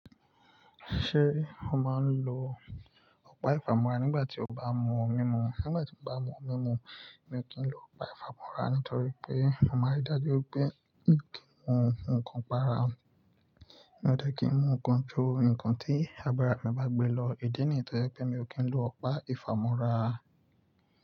Ṣé o máa ń lo ọ̀pá ìfámọ́ra nígbà tí o bá mú omi mu? Nígbà tí mo bá mú omi mu, mi ò kí ń lo ọ̀pá ìfámọ́ra, nítorí pé mo máa rí dájú pé kí n mu nǹkan para. Ati kí ń mu nǹkan ju nǹkan tí agbára mi bá gbé lọ. Idi niyi ti je pé mi ò kí ń lo ọ̀pá ìfámọ́ra.